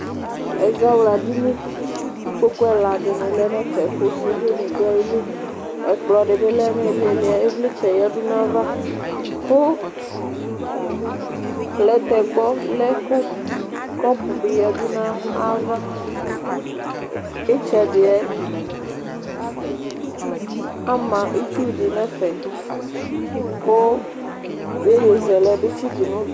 Ɛzawladini kʋ ikpoku ɛla dini lɛ nʋ ɛfɛ, kʋ sude ni du ayili Ɛkplɔ dibɩ lɛ nʋ ilili yɛ Ivlitsɛ ni yǝdʋ nʋ ayava, kʋ plɛtɛgba, lɛtɩlikɩ, kʋ kɔpʋ bɩ yǝdʋ nʋ ayava Itsɛdɩ yɛ ama itsu di nʋ ɛfɛ Kʋ iyeyezɛlɛ bɩ tsɩtʋ nʋ ugli